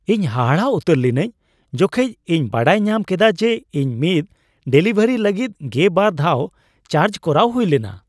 ᱤᱧ ᱦᱟᱦᱟᱲᱟᱜ ᱩᱛᱟᱹᱨ ᱞᱤᱱᱟᱹᱧ ᱡᱚᱠᱷᱮᱡ ᱤᱧ ᱵᱟᱰᱟᱭ ᱧᱟᱢ ᱠᱮᱫᱟ ᱡᱮ ᱤᱧ ᱢᱤᱫ ᱰᱮᱞᱤᱵᱷᱟᱨᱤ ᱞᱟᱹᱜᱤᱫ ᱜᱮ ᱵᱟᱨ ᱫᱷᱟᱣ ᱪᱟᱨᱡᱽ ᱠᱚᱨᱟᱣ ᱦᱩᱭ ᱞᱮᱱᱟ ᱾